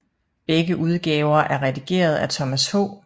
Begge udgaver er redigeret af Thomas H